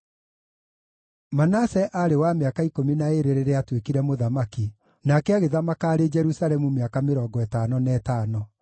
Manase aarĩ wa mĩaka ikũmi na ĩĩrĩ rĩrĩa aatuĩkire mũthamaki, nake agĩthamaka arĩ Jerusalemu mĩaka mĩrongo ĩtano na ĩtano.